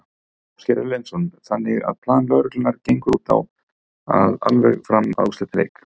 Ásgeir Erlendsson: Þannig að plan lögreglunnar gengur út á alveg fram að úrslitaleik?